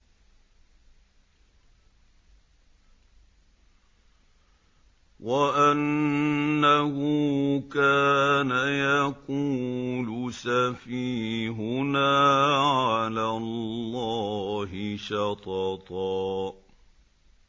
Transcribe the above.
وَأَنَّهُ كَانَ يَقُولُ سَفِيهُنَا عَلَى اللَّهِ شَطَطًا